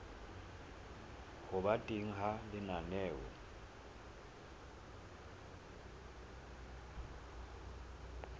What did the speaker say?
ho ba teng ha lenaneo